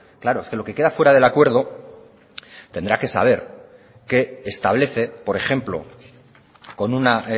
claro es que lo que queda fuera del acuerdo tendrá que saber qué establece por ejemplo con una